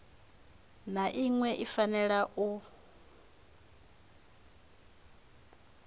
na iṅwe i fanela u